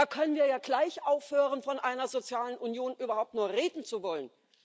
Da können wir ja gleich aufhören, von einer sozialen Union überhaupt nur reden zu wollen.